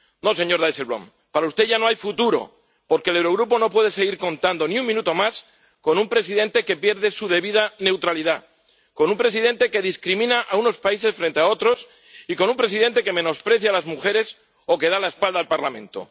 No, señor Dijsselbloem, para usted ya no hay futuro, porque el Eurogrupo no puede seguir contando ni un minuto más con un presidente que pierde su debida neutralidad, con un presidente que discrimina a unos países frente a otros, y con un presidente que menosprecia a las mujeres o que da la espalda al Parlamento.